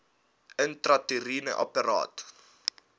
intrauteriene apparaat iua